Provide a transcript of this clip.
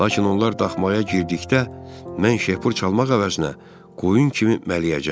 Lakin onlar daxmaya girdikdə mən şeypur çalmaq əvəzinə qoyun kimi mələyəcəm.